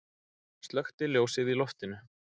Slökkti ljósið í loftinu.